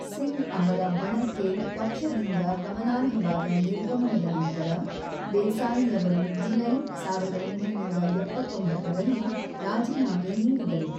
ಸಿಂಗ್ ಅವರ ಬಣಕ್ಕೆ ಪಕ್ಷದಿಂದ ಗಮನಾರ್ಹವಾದ ನಿರ್ಗಮನದ ನಂತರ, ದೇಸಾಯಿ ಅವರು ಜುಲೈ ೧೯೭೯ ರಲ್ಲಿ ರಾಜೀನಾಮೆ ನೀಡಿದರು.